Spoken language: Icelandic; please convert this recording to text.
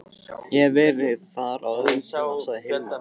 Ég hef verið þar á öðrum tíma, sagði Hilmar.